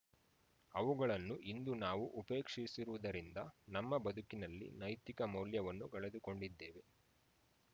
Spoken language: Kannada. ಅವುಗಳನ್ನು ಇಂದು ನಾವು ಉಪೇಕ್ಷಿಸಿರುವುದರಿಂದ ನಮ್ಮ ಬದುಕಿನಲ್ಲಿ ನೈತಿಕ ಮೌಲ್ಯವನ್ನು ಕಳೆದುಕೊಂಡಿದ್ದೇವೆ